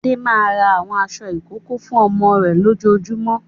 Adé máa ra àwọn aṣọ ìkókó fún ọmọ rẹ̀ lójoojúmọ́.